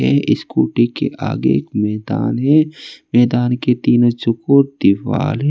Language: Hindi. ये स्कूटी के आगे मैदान है मैदान के तीनों चकोर दिवाल है।